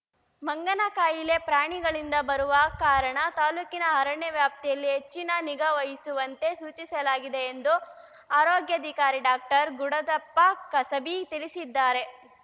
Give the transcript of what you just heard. ಮಂಗನ ಕಾಯಿಲೆ ಪ್ರಾಣಿಗಳಿಂದ ಬರುವ ಕಾರಣ ತಾಲೂಕಿನ ಅರಣ್ಯ ವ್ಯಾಪ್ತಿಯಲ್ಲಿ ಹೆಚ್ಚಿನ ನಿಗಾ ವಹಿಸುವಂತೆ ಸೂಚಿಸಲಾಗಿದೆ ಎಂದು ಆರೋಗ್ಯಾಧಿಕಾರಿ ಡಾಕ್ಟರ್ ಗುಡದಪ್ಪ ಕಸಬಿ ತಿಳಿಸಿದ್ದಾರೆ